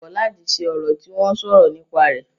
Mo kọ̀ láti ṣe orò tí wọ́n sọ̀rọ̀ nípa rẹ̀.